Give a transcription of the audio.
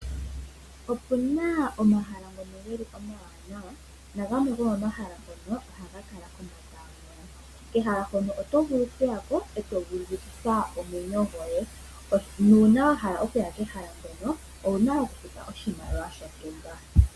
Opuna omahala ngono ge li omawanawa nagamwe gomomahala ohaga kala kombanda yomeya. Kehala hono oto vulu okuya ko e to vulukitha omwenyo goye. nuuna wa hala okuya kehala hono owuna okufuta oshimaliwa shontumba.